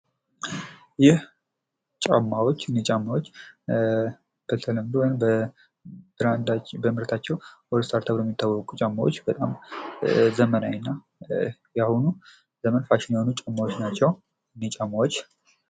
ይህ ጫማዎችን ነው የሚያሳየን ፤ ሆልስታር ተብለው የሚታወቁትን ጫማዎች ነው የሚያሳየን።